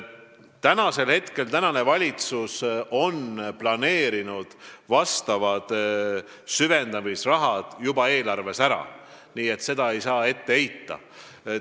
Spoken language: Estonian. Praegune valitsus on planeerinud vastavad süvendamisrahad juba eelarvesse ära, nii et selle tegematajätmist ei saa meile ette heita.